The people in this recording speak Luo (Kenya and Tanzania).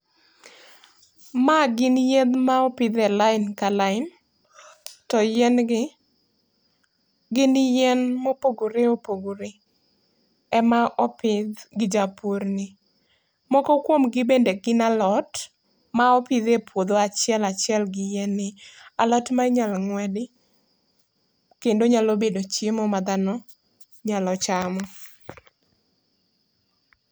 Ma gin yien ma opidh e lain ka lain to yien gi, gin yien mopogore opogore ema opidh gi japur ni. Moko kuomgi bende gin alot ma opidh e puodho achiel achiel gi yien ni. Alot ma inyalo ng'wedi kendo nyalo bedo chiemo ma dhano nyalo chamo.